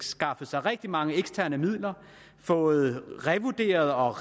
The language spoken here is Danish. skaffet rigtig mange eksterne midler fået revurderet og